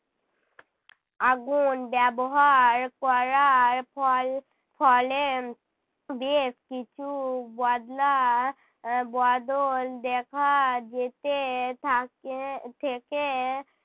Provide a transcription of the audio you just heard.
আগুন ব্যবহার করার ফল ফলে বেশ কিছু বদলা বদল দেখা যেতে থাকে থেকে